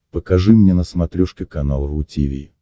покажи мне на смотрешке канал ру ти ви